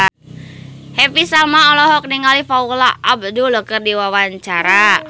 Happy Salma olohok ningali Paula Abdul keur diwawancara